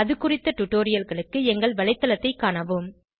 அது குறித்த டுடோரியல்களுக்கு எங்கள் வலைத்தளத்தைக் காணவும்